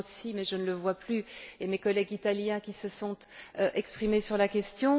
Rossi mais je ne le vois plus et à mes collègues italiens qui se sont exprimés sur la question.